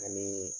Ani